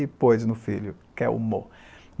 e pôs no filho Kelmo.